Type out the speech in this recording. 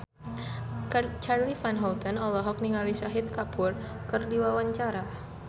Charly Van Houten olohok ningali Shahid Kapoor keur diwawancara